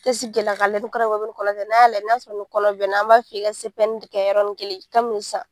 An bɛ kɛ i la k'a lajɛ ni kɔnɔ b'i la, n'a y'a sɔrɔ kɔnɔ b'i la, an b'a f'i ɲɛna k'i ka yɔrɔnin kelen kabini san.